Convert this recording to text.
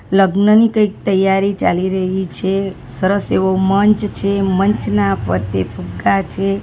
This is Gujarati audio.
લગ્નની કંઇક તૈયારી ચાલી રહી છે સરસ એવો મંચ છે મંચના ફરતે ફુગ્ગા છે.